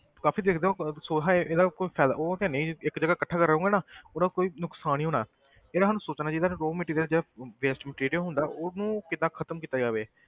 ਕਾਫ਼ੀ ਦੇਖਦੇ ਆ ਉਹ ਅਹ ਸੋ ਹੈ ਇਹਦਾ ਕੋਈ ਫ਼ਾਇ~ ਉਹ ਹੈ ਨੀ ਇੱਕ ਜਗ੍ਹਾ ਇਕੱਠਾ ਕਰੋਂਗੇ ਨਾ ਉਹਦਾ ਕੋਈ ਨੁਕਸਾਨ ਹੀ ਹੋਣਾ ਹੈ ਇਹਦਾ ਸਾਨੂੰ ਸੋਚਣਾ ਚਾਹੀਦਾ ਵੀ raw material ਜਿਹੜਾ waste material ਹੁੰਦਾ ਉਹਨੂੰ ਕਿੱਦਾਂ ਖ਼ਤਮ ਕੀਤਾ ਜਾਵੇ।